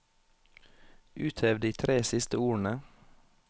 Uthev de tre siste ordene